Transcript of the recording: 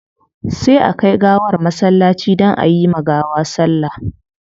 Sai a kai gawar masallaci don ayi ma gawa sallah